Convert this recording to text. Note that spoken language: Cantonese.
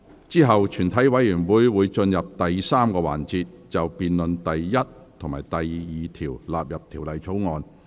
之後全體委員會會進入第三個環節，辯論第1及2條納入《條例草案》。